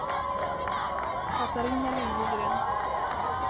Catarina Liljegren